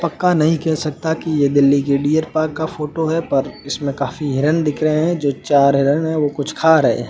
पक्का नहीं कह सकता कि यह दिल्ली के डियर पार्क का फोटो है पर इसमें काफी हिरण दिख रहे हैं जो चार हिरन है वो कुछ खा रहे हैं।